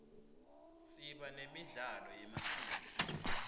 siba nemidlalo yemasiko